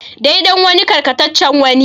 Dai dan wani karkataccen wani.